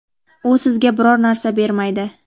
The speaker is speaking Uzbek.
u sizga biror narsa bermaydi.